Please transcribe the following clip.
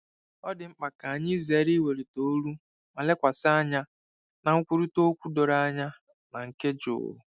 Ọ dị mkpa ka anyị zere iwelite olu ma lekwasị anya na nkwurịta okwu doro anya na nke jụụ.